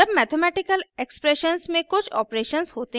जब mathematical expressions में कुछ ऑपरेशंस होते हैं